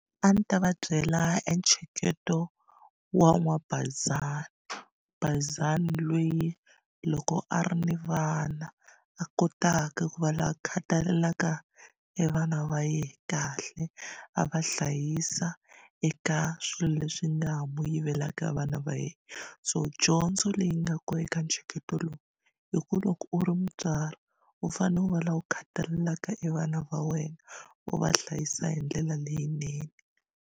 A ndzi ta va byela e ntsheketo wa n'wabayizani bayizani loyi loko a ri ni vana a kotaka ku va loyi a khatalelaka e vana va yehe kahle a va hlayisa eka swilo leswi nga ha mu yivelaka vana va yena so dyondzo leyi nga kona eka ntsheketo lowu i ku loko u ri mutswari u fanele u va la u khatalelaka e vana va wena u va hlayisa hi ndlela leyinene.